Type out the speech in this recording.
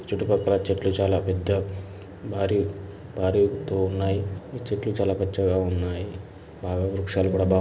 చుటుపక్కల చెట్లు పెద్దగ బారి బారి ఎత్తులో ఉన్నాయి చెట్లు చాలా పచ్చగా ఉన్నాయి. బాగ వృక్షాలు కూడ బాగ --